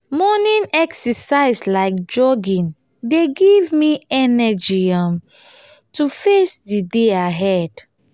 morning exercise like jogging dey give me energy um to face di day ahead.